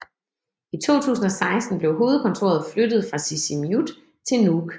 I 2016 blev hovedkontoret flyttet fra Sisimiut til Nuuk